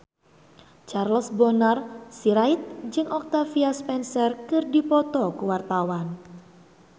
Charles Bonar Sirait jeung Octavia Spencer keur dipoto ku wartawan